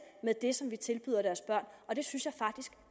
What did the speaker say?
med det som vi tilbyder deres børn og det synes jeg faktisk